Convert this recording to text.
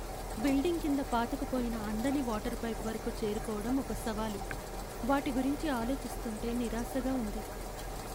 Building కింద పాతుకుపోయిన అందని వాటర్ పైప్ వరకు చేరుకోవడం ఒక సవాలు, వాటి గురించి ఆలోచిస్తుంటే నిరాశగా ఉంది.